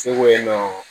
Seko yen nɔ